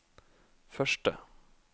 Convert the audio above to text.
første